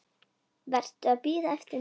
Varstu að bíða eftir mér?